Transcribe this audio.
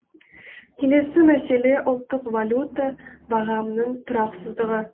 келесі мәселе ұлттық валюта бағамының тұрақсыздығы